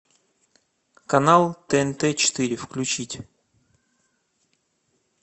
канал тнт четыре включить